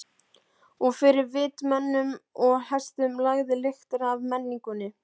Og fyrir vit mönnum og hestum lagði lyktina af menningunni.